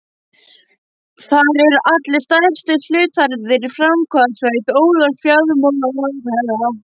Þar eru allir stærstu hluthafarnir í framvarðarsveit Ólafs fjármálaráðherra.